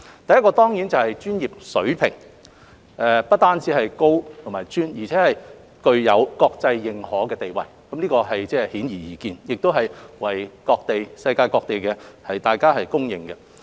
第一當然是專業水平，不單是高且專，而且具有國際認可的地位，這是顯而易見，亦為世界各地公認。